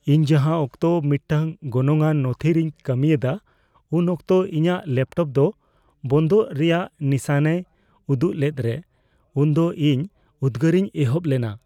ᱤᱧ ᱡᱟᱦᱟᱸ ᱚᱠᱛᱚ ᱢᱤᱫᱴᱟᱝ ᱜᱚᱱᱚᱝᱟᱱ ᱱᱚᱛᱷᱤᱨᱮᱧ ᱠᱟᱹᱢᱤ ᱮᱫᱟ ᱩᱱ ᱚᱠᱛᱚ ᱤᱧᱟᱹᱜ ᱞᱮᱯᱴᱚᱯ ᱫᱚ ᱵᱚᱱᱫᱚᱜ ᱨᱮᱭᱟᱜ ᱱᱤᱥᱟᱹᱱᱮ ᱩᱫᱩᱜ ᱞᱮᱫ ᱨᱮ, ᱩᱱ ᱫᱚ ᱤᱧ ᱩᱫᱽᱜᱟᱨᱤᱧ ᱮᱦᱚᱵ ᱞᱮᱱᱟ ᱾